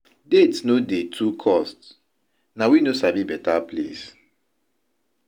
Date no dey to cost, na we no sabi beta place.